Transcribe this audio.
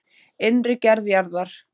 Innri gerð jarðar